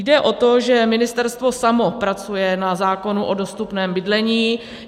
Jde o to, že Ministerstvo samo pracuje na zákonu o dostupném bydlení.